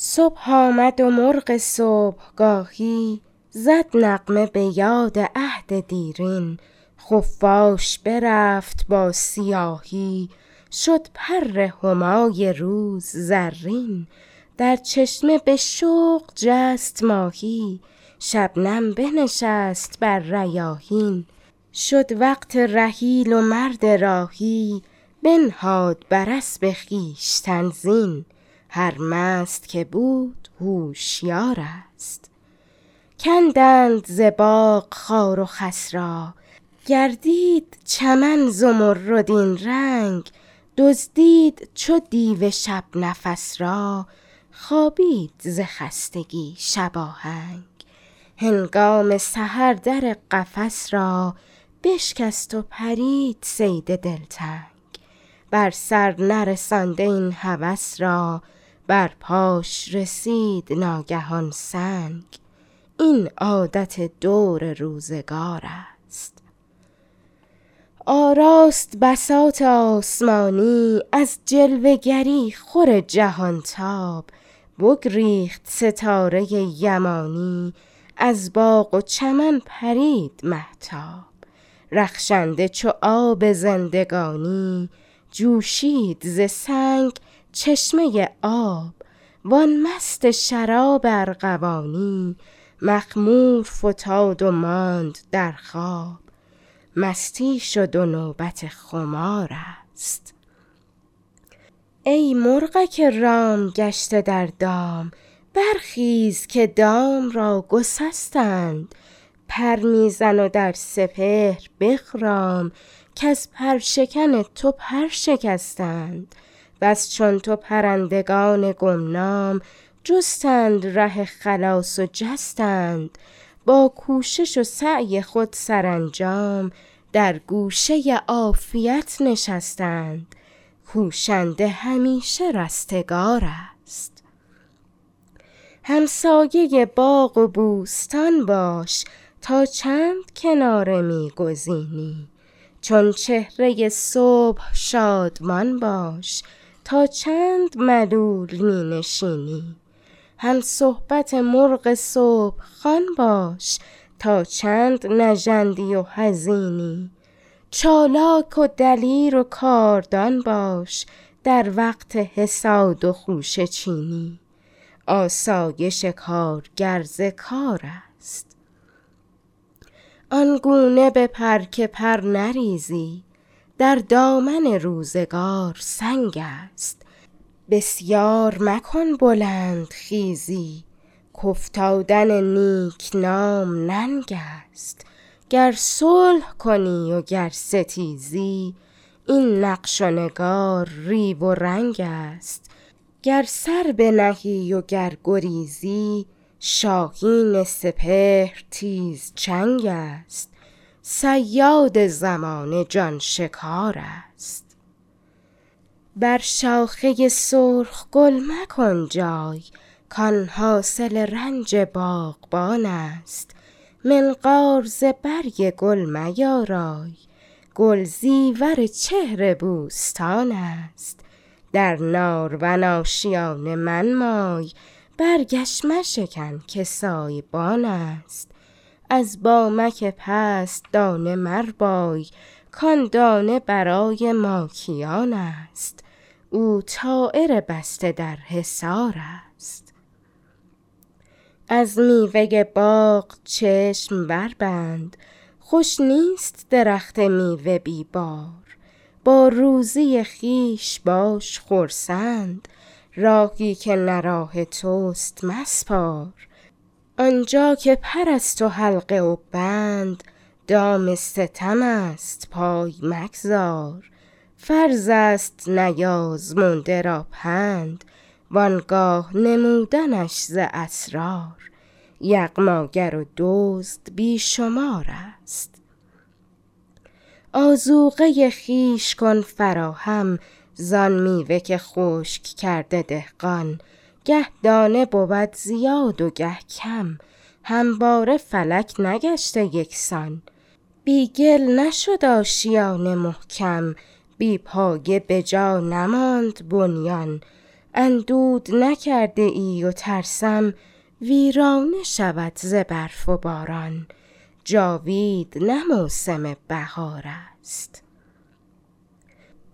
صبح آمد و مرغ صبحگاهی زد نغمه بیاد عهد دیرین خفاش برفت با سیاهی شد پر همای روز زرین در چشمه به شوق جست ماهی شبنم بنشست بر ریاحین شد وقت رحیل و مرد راهی بنهاد بر اسب خویشتن زین هر مست که بود هوشیار است کندند ز باغ خار و خس را گردید چمن زمردین رنگ دزدید چو دیو شب نفس را خوابید ز خستگی شباهنگ هنگام سحر در قفس را بشکست و پرید صید دل تنگ بر سر نرسانده این هوس را بر پاش رسید ناگهان سنگ این عادت دور روزگار است آراست بساط آسمانی از جلوه گری خور جهان تاب بگریخت ستاره یمانی از باغ و چمن پرید مهتاب رخشنده چو آب زندگانی جوشید ز سنگ چشمه آب وان مست شراب ارغوانی مخمور فتاد و ماند در خواب مستی شد و نوبت خمار است ای مرغک رام گشته در دام برخیز که دام را گسستند پر می زن و در سپهر بخرام کز پر شکن تو پر شکستند بس چون تو پرندگان گمنام جستند ره خلاص و جستند با کوشش و سعی خود سرانجام در گوشه عافیت نشستند کوشنده همیشه رستگار است همسایه باغ و بوستان باش تا چند کناره می گزینی چون چهره صبح شادمان باش تا چند ملول می نشینی هم صحبت مرغ صبح خوان باش تا چند نژندی و حزینی چالاک و دلیر و کاردان باش در وقت حصاد و خوشه چینی آسایش کارگر ز کار است آنگونه بپر که پر نریزی در دامن روزگار سنگ است بسیار مکن بلند خیزی ک افتادن نیک نام ننگ است گر صلح کنی و گر ستیزی این نقش و نگار ریو و رنگ است گر سر بنهی و گر گریزی شاهین سپهر تیز چنگ است صیاد زمانه جان شکار است بر شاخه سرخ گل مکن جای کان حاصل رنج باغبان است منقار ز برگ گل میارای گل زیور چهر بوستان است در نارون آشیانه منمای برگش مشکن که سایبان است از بامک پست دانه مربای کان دانه برای ماکیان است او طایر بسته در حصار است از میوه باغ چشم بر بند خوش نیست درخت میوه بی بار با روزی خویش باش خرسند راهی که نه راه تست مسپار آنجا که پر است و حلقه و بند دام ستم است پای مگذار فرض است نیازموده را پند و آگاه نمودنش ز اسرار یغماگر و دزد بی شمار است آذوقه خویش کن فراهم زان میوه که خشک کرده دهقان گه دانه بود زیاد و گه کم همواره فلک نگشته یکسان بی گل نشد آشیانه محکم بی پایه بجا نماند بنیان اندود نکرده ای و ترسیم ویرانه شود ز برف و باران جاوید نه موسم بهار است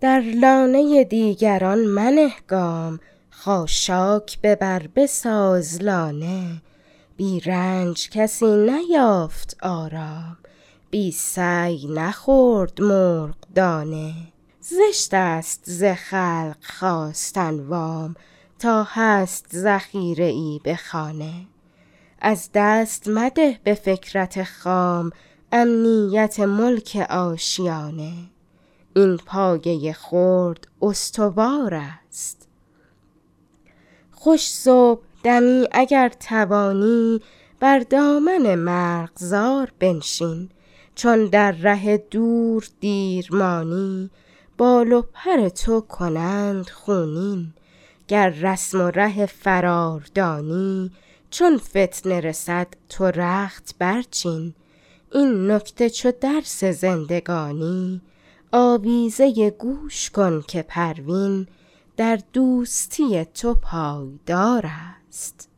در لانه دیگران منه گام خاشاک ببر بساز لانه بی رنج کسی نیافت آرام بی سعی نخورد مرغ دانه زشت است ز خلق خواستن وام تا هست ذخیره ای به خانه از دست مده به فکرت خام امنیت ملک آشیانه این پایه خرد استوار است خوش صبحدمی اگر توانی بر دامن مرغزار بنشین چون در ره دور دیر مانی بال و پر تو کنند خونین گر رسم و ره فرار دانی چون فتنه رسد تو رخت بر چین این نکته چو درس زندگانی آویزه گوش کن که پروین در دوستی تو پایدار است